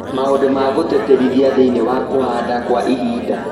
Maũndũ ma gũtĩtĩrithia thĩinĩ wa kũhanda Kwa ihinda